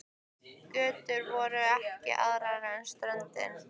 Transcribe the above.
Götur voru ekki aðrar en með ströndinni.